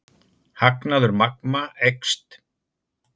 Hagnaður Magma eykst